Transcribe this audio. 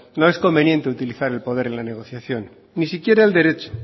no es conveniente utilizar el poder en la negociación ni siquiera el derecho